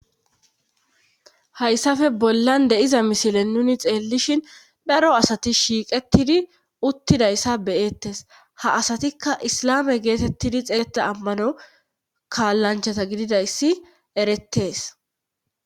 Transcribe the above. hayssafe bollan deiza misilen nuni xeellishin daro asati shiiqettidi uttidayssa beyettes ha asatikka islame geetettidi xeeetta ammano kaallanchata gididayssi erettees